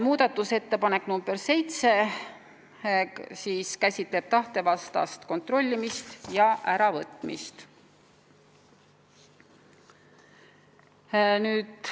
Muudatusettepanek nr 7 käsitleb tahtevastast kontrollimist ja äravõtmist.